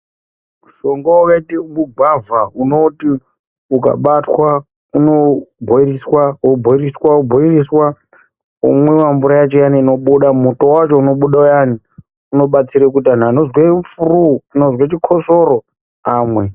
Mushonga wakaitei wegwavha unoti ukabatwa unobhoiliswa wobhoiloswa wobhoiloswa womwiwa mvura yacho iyani inobuda , muto wacho unobuda uyani unobatsire kuti anhu anozwe furu kana kuzwe chikotsoro amwe.